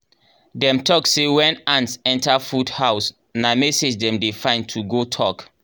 dem talk say when ants enter food house na message dem dey find to go talk.